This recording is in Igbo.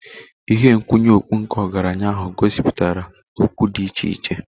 Ihe nkwụnye okpu nke ọgaranya ahụ gosipụtara okpu dị iche iche.